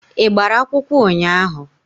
Ị gbara akwụkwọ ụnyaahụ?